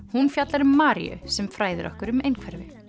hún fjallar um Maríu sem fræðir okkur um einhverfu